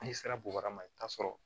N'i sera bubarama i bi taa sɔrɔ